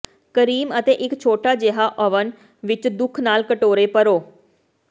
cream ਅਤੇ ਇੱਕ ਛੋਟਾ ਜਿਹਾ ਓਵਨ ਵਿੱਚ ਦੁਖ ਨਾਲ ਕਟੋਰੇ ਭਰੋ